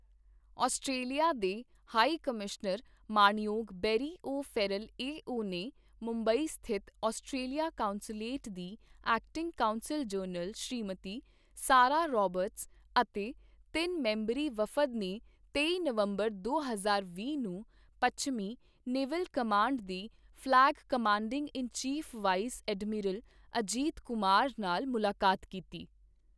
Australia ਦੇ high commissioner ਮਾਣਯੋਗ Barry O Farrell A O ਨੇ ਮੁੰਬਈ ਸਥਿਤ ਆਸਟਰੇਲੀਆ ਕੌਂਸੂਲੇਟ ਦੀ acting consul general Shrimati Sarah Roberts ਅਤੇ ਤਿੰਨ ਮੈਂਬਰੀ ਵਫਦ ਨੇ ਤੇਈ ਨਵੰਬਰ ਦੋ ਹਜ਼ਾਰ ਵੀਹ ਨੂੰ ਪੱਛਮੀ ਨੇਵਲ ਕਮਾਂਡ ਦੇ flag commanding in chief vice admiral Ajit Kumar ਨਾਲ ਮੁਲਾਕਾਤ ਕੀਤੀ।